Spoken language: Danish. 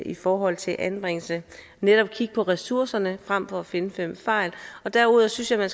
i forhold til anbringelse og netop kigge på ressourcerne frem for at finde fem fejl derudover synes jeg man